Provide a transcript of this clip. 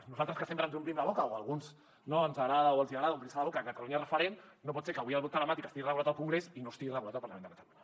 nosaltres que sempre ens omplim la boca o a alguns ens agrada o els hi agrada omplir se la boca que catalunya és referent no pot ser que avui el vot telemàtic estigui regulat al congrés i no estigui regulat al parlament de catalunya